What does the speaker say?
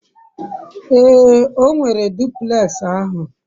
ee, o nwere duplex ahu